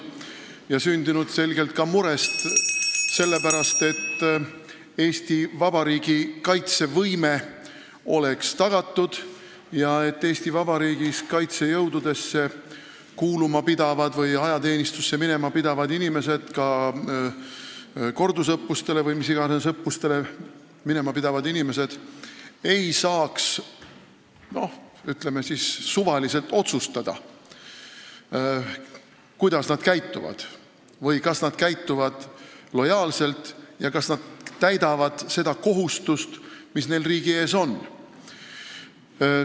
See on sündinud selgelt ka murest selle pärast, et Eesti Vabariigi kaitsevõime oleks tagatud ja et Eesti Vabariigis kaitsejõududesse kuuluma pidavad või ajateenistusse minema pidavad inimesed – ka kordusõppustele või mis iganes õppustele minema pidavad inimesed – ei saaks suvaliselt otsustada, kuidas nad käituvad, kas nad käituvad lojaalselt ja täidavad kohustust, mis neil riigi ees on.